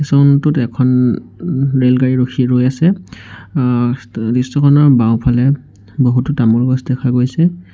Room টোত এখন ও ৰেলগাড়ী ৰখি ৰৈ আছে আ দৃশ্যখনৰ বাওঁফালে বহুতো তামোল গছ দেখা গৈছে।